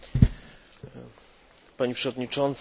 Pani przewodnicząca, panie przewodniczący!